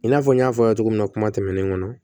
I n'a fɔ n y'a fɔ aw ye togo minna kuma tɛmɛnenw kɔnɔ